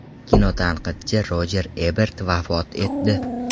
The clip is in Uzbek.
Kinotanqidchi Rojer Ebert vafot etdi.